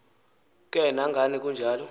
ke nangani kunjalo